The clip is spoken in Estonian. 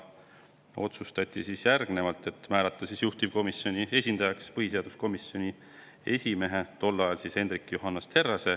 Otsustati määrata juhtivkomisjoni esindajaks põhiseaduskomisjoni esimees, kes siis oli Hendrik Johannes Terras.